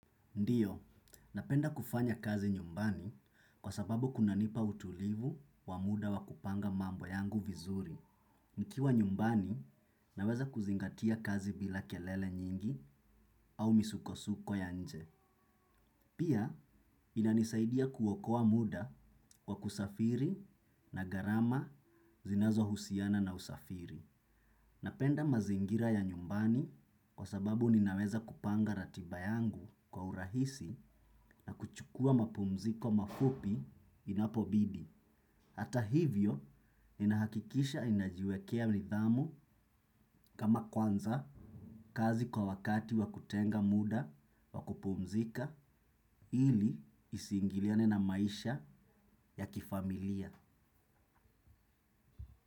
Ndiyo, napenda kufanya kazi nyumbani kwa sababu kuna nipa utulivu wa muda wa kupanga mambo yangu vizuri. Nikiwa nyumbani, naweza kuzingatia kazi bila kelele nyingi au misuko-suko ya nje. Pia, inanisaidia kuokowa muda kwa kusafiri na gharama zinazo husiana na usafiri. Napenda mazingira ya nyumbani kwa sababu ninaweza kupanga ratiba yangu kwa urahisi na kuchukua mapumziko mafupi inapobidi. Hata hivyo, ninahakikisha inajiwekea nidhamu kama kuanza kazi kwa wakati wa kutenga muda wa kupumzika ili isiingiliane na maisha ya kifamilia.